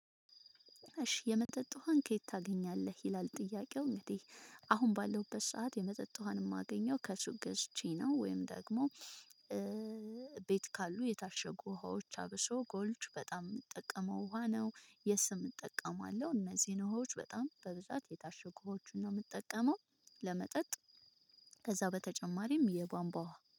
እሺ የመጠጥ ውሃን ከየት ታገኛለህ ይላል? ጥያቄው እንግዲህ አሁን ባለሁበት ሰዓት የመጠጥ ውሃን እማገኘው ከሱቅ ገዝቼ ነው። ወይም ደግሞ ቤት ካሉ የታሸጉ ውሃዎች አብሶ ጎልድ በጣም የምጠቀመው ውሃ ነው የስም እጠቀማለሁ። እነዚህን ውሃዎች በጣም በብዛት የታሸጉት ውሃዎችን ነው እምጠቀመው። ለመጠጥ ከዛ በተጨማሪም የቧንቧ ውሃ